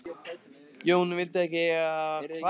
Jón vildi ekki eiga frumkvæði og mælti ekki orð.